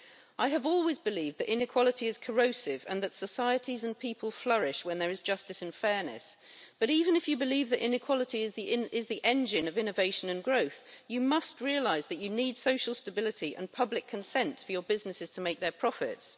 I have always believed that inequality is corrosive and that societies and people flourish when there is justice and fairness, but even if you believe that inequality is the engine of innovation and growth, you must realise that you need social stability and public consent for your businesses to make their profits.